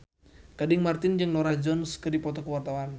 Gading Marten jeung Norah Jones keur dipoto ku wartawan